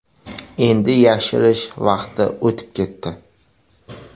Endi yashirish vaqti o‘tib ketdi.